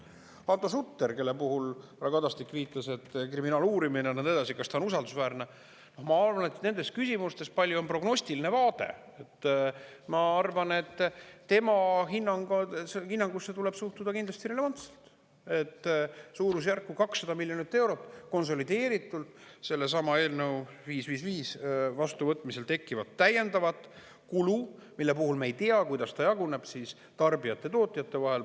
Hando Sutter, kelle puhul härra Kadastik viitas, et kriminaaluurimine on ja nõnda edasi, kas ta on usaldusväärne – ma arvan, et nendes küsimustes, palju prognostilise vaade, ma arvan, tema hinnangusse tuleb suhtuda kindlasti relevantselt, et suurusjärgus 200 miljonit eurot konsolideeritud sellesama eelnõu 555 vastuvõtmisel tekkivat täiendavat kulu, mille puhul me ei tea, kuidas ta jaguneb tarbijate ja tootjate vahel.